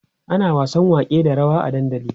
ana wasan wake da rawa a dandali